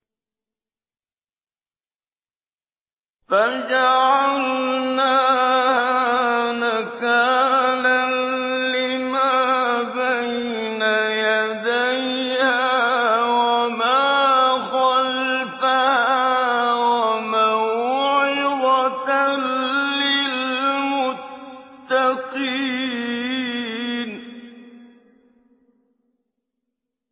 فَجَعَلْنَاهَا نَكَالًا لِّمَا بَيْنَ يَدَيْهَا وَمَا خَلْفَهَا وَمَوْعِظَةً لِّلْمُتَّقِينَ